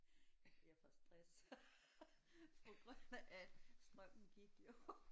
Jeg får stress på grund af strømmen gik jo